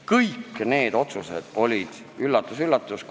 Kõik need otsused olid – üllatus-üllatus!